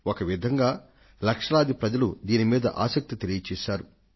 ఒక విధంగా లక్షలాది ప్రజలు దీని మీద ఆసక్తిని వ్యక్తం చేశారు